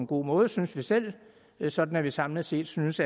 god måde synes vi selv sådan at vi samlet set synes